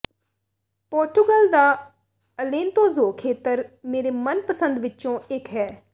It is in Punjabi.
ਪੋਰਟੁਗਲ ਦਾ ਅਲੇਂਤੋਜੋ ਖੇਤਰ ਮੇਰੇ ਮਨਪਸੰਦ ਵਿੱਚੋਂ ਇੱਕ ਹੈ